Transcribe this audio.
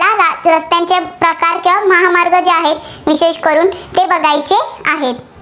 रस्त्यांचे प्रकार, किंवा महामार्ग आहेत, विशेष करून ते बघायचे आहेत.